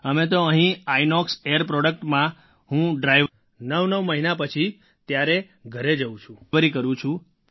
અમે તો અહીં ઇનોક્સ એઆઈઆર productમાં હું ડ્રાઇવરી ડ્રાઇવર તરીકે કરું છું